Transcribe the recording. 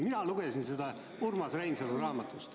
Mina lugesin seda Urmas Reinsalu raamatust.